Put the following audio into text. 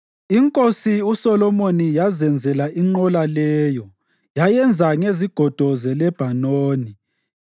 Inkosi uSolomoni yazenzela inqola leyo; yayenza ngezigodo zeLebhanoni.